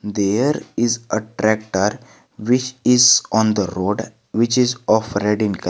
There is a tractor which is on the road which is of red in colour.